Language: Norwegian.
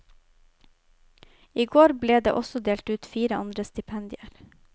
I går ble det også delt ut fire andre stipendier.